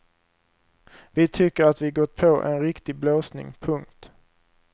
Vi tycker att vi gått på en riktig blåsning. punkt